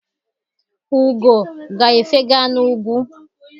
Ugo ga-efega n'ugwu.